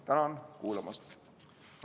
Tänan kuulamast!